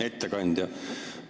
Hea ettekandja!